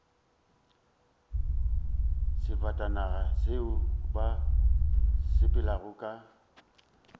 sefatanaga seo ba sepelago ka